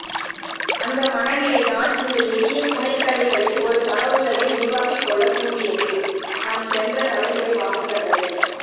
அந்த மனநிலைதான் இந்த எளிய புனைகதைகளில் ஒரு கனவுலகை உருவாக்கிக்கொள்ள தூண்டியது நம் சென்ற தலைமுறை வாசகர்களை